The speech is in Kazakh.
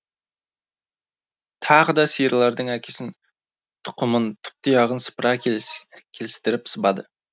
тағы да сиырлардың әкесін тұқымын тұп тұяғын сыпыра келістіріп сыбады